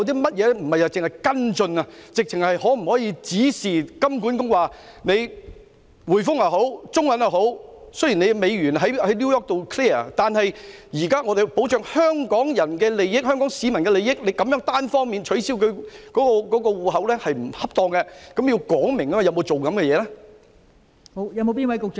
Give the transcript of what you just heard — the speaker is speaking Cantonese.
不單只是作出跟進，究竟當局可否直接指示金管局向銀行說明，雖然美元在紐約結算，但現時應要保障香港人的利益，單方面取消戶口並不恰當，政府有否進行這些工作？